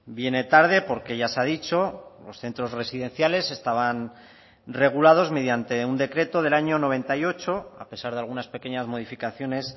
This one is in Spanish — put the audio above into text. viene tarde porque ya se ha dicho los centros residenciales estaban regulados mediante un decreto del año noventa y ocho a pesar de algunas pequeñas modificaciones